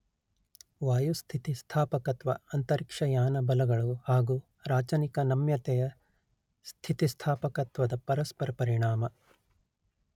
ವಾಯುಸ್ಥಿತಿಸ್ಥಾಪಕತ್ವ ಅಂತರಿಕ್ಷಯಾನ ಬಲಗಳು ಹಾಗು ರಾಚನಿಕ ನಮ್ಯತೆಯ ಸ್ಥಿತಿಸ್ಥಾಪಕತ್ವದ ಪರಸ್ಪರ ಪರಿಣಾಮ